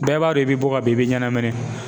Bɛɛ b'a dɔn i bɛ bɔ ka bin i bɛ ɲɛnamini.